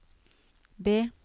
B